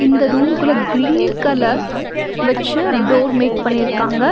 இந்த ரூம்க்குள்ள green colour வெச்சு டோர் மேக் பண்ணிருக்காங்க.